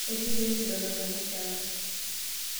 Ekiiyieu nikidol enkanashe ang'.